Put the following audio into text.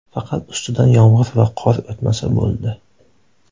Faqat ustidan yomg‘ir va qor o‘tmasa bo‘ldi.